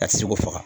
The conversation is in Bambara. A tɛ se k'o faga